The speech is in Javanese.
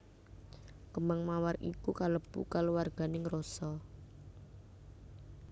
Kembang Mawar iku kalebu kaluwarganing Rosa